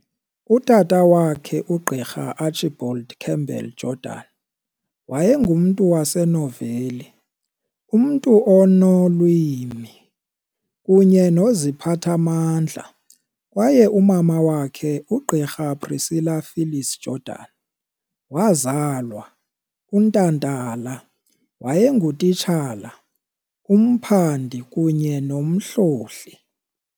Utata wakhe, uGqr Archibald Campbell Jordan, wayengumntu wasenoveli, umntu onolwimi kunye noziphathamandla kwaye umama wakhe, uGqirha Priscilla Phyllis Jordan wazalwa, uNtantala, wayengutitshala, umphandi kunye nomhlohli.